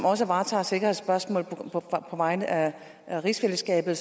også varetager sikkerhedsspørgsmål på vegne af rigsfællesskabet